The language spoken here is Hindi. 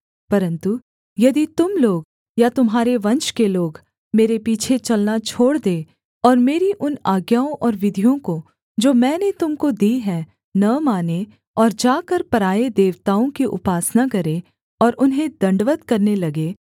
परन्तु यदि तुम लोग या तुम्हारे वंश के लोग मेरे पीछे चलना छोड़ दें और मेरी उन आज्ञाओं और विधियों को जो मैंने तुम को दी हैं न मानें और जाकर पराए देवताओं की उपासना करें और उन्हें दण्डवत् करने लगें